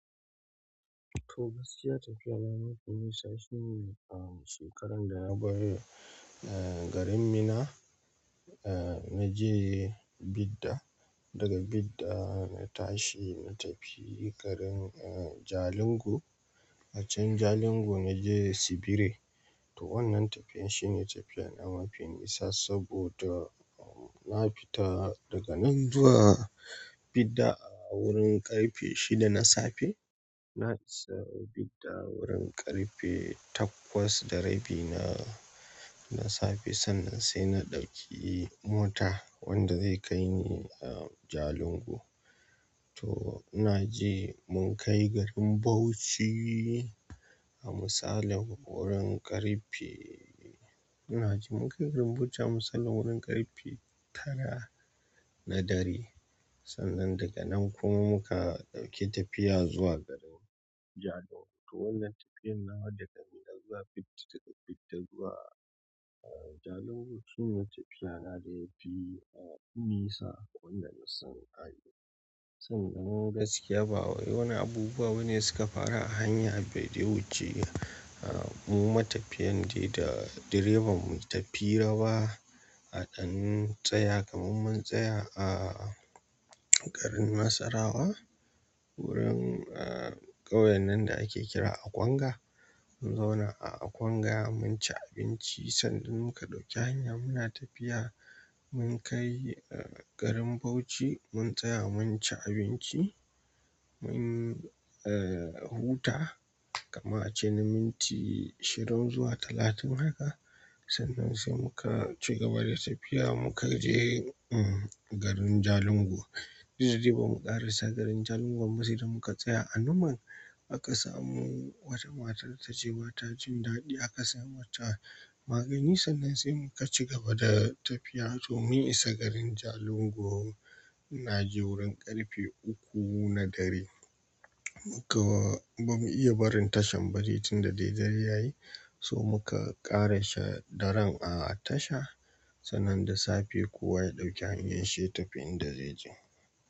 To gaskiya tafiyar na mafi nisa shine a shekaran da na bar garin Minna, na je Bidda. Daga Bida na tashi na tafi garin, eh, Jalingo. A can Jalingo na je Sibire. To wannan tafiyan shine tafiya na mafi nisa saboda na fita daga nan zuwa Bidda a wurin ƙarfe shida na safe. Na isa Bidda wurin ƙarfe takwas da rabi na, na safe. Sannan sai na ɗauki mota wanda zai kai ni, Jalingo. To ina ji mun kai garin Bauchi a misalin wurin ƙarfe. Ina ji mun kai garin Bauchi a misalin wurin ƙarfe tara na dare. Sannan daga nan kuma muka ɗauki tafiya zuwa garin Jalingo. To wannan tafiyar nawa daga Minna zuwa Bid-Bidda zuwa, Jalingo sune tafiya na da yafi nisa wanda nasan na yi. Sannan gaskiya ba wai wasu abubuwa bane da suka faru a hanya da ya wuce mu matafiyan dai da direban mu yi ta hira ba. A ɗan tsaya kamar mun tsaya a garin Nasarawa wurin, ƙauyen nan da ake kira Akwanga. Mun zauna a Akwanga mun ci abinci sannan muka ɗauki hanya muna tafiya. Mun kai, eh, garin Bauchi mun tsaya mun ci abinci. Mun huta kaman ace na minti ishirin zuwa talatin haka, sannan sai muka ci gaba da tafiya muka je, garin Jalingo. Duk da dai bamu ƙarasa garin Jalingo'n ba sai da muka tsaya. A Numan aka samu wata matar da tace ba ta jin daɗi aka sai mata magani. Sannan sai muka ci gaba da tafiya. To mun isa garin Jalingo ina ji wurin ƙarfe uku na dare. Bamu iya barin tashar ba dai tunda dai dare yayi, sai muka ƙarasa daren a tasha. Sannan da safe kowa ya ɗauki hanyar shi ya tafi in da zai je.